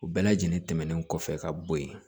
U bɛɛ lajɛlen tɛmɛnen kɔfɛ ka bo yen